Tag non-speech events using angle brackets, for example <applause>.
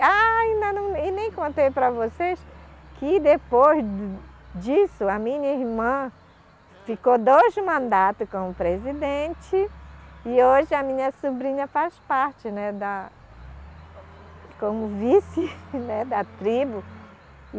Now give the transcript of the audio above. Ah, ainda não, e nem contei para vocês que depois disso a minha irmã ficou dois mandato como presidente e hoje a minha sobrinha faz parte, né da como vice <laughs> né da tribo.